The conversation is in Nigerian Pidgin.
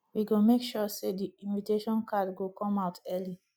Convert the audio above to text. we go make sure sey di invitation card go come out early